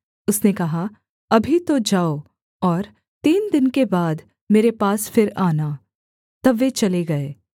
उसने कहा अभी तो जाओ और तीन दिन के बाद मेरे पास फिर आना तब वे चले गए